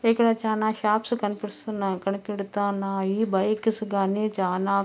ఇక్కడ చానా షాప్స్ కనిపిస్తున్నాయి. కనిపెడుతున్నాయి బైక్స్ గానీ చానా--